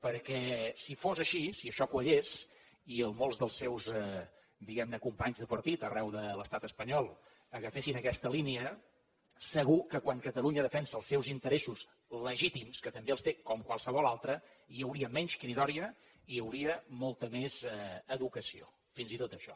perquè si fos així si això quallés i molts dels seus diguem ne companys de partit arreu de l’estat espanyol agafessin aquesta línia segur que quan catalunya defensa els seus interessos legítims que també els té com qualsevol altra hi hauria menys cridòria i hi hauria molta més educació fins i tot això